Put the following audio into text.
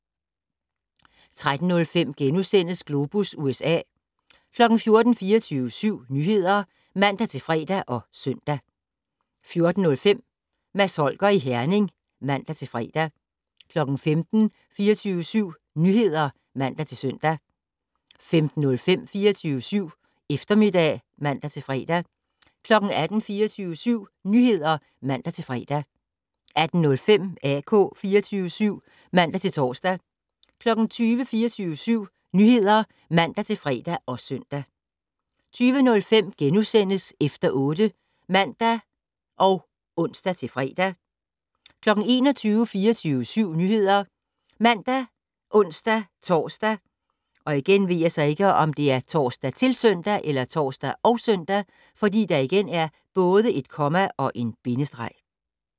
13:05: Globus USA * 14:00: 24syv Nyheder (man-fre og søn) 14:05: Mads Holger i Herning (man-fre) 15:00: 24syv Nyheder (man-søn) 15:05: 24syv Eftermiddag (man-fre) 18:00: 24syv Nyheder (man-fre) 18:05: AK 24syv (man-tor) 20:00: 24syv Nyheder (man-fre og søn) 20:05: Efter 8 *(man og ons-fre) 21:00: 24syv Nyheder ( man, ons-tor, -søn)